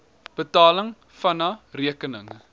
betaling vna rekeninge